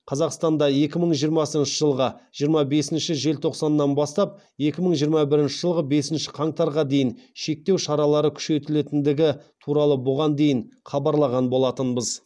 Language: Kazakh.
қазақстанда екі мың жиырмасыншы жылғы жиырма бесінші желтоқсаннан бастап екі мың жиырма бірінші жылғы бесінші қаңтарға дейін шектеу шаралары күшейтілетіндігі туралы бұған дейін хабарлаған болатынбыз